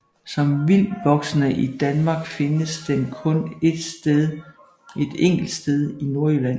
Som vildtvoksende i Danmark findes den kun et enkelt sted i Nordjylland